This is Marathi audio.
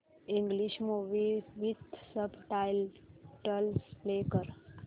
English movie with subtitles play कर